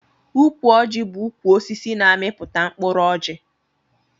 Ukwu ọji bu ukwu osisi na amiputa mkụrụ ọji.